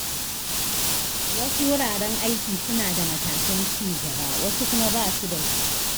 Wasu wuraren aiki suna da matakan ci gaba, wasu kuma basu da su.